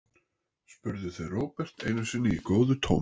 spurðu þau Róbert einu sinni í góðu tómi.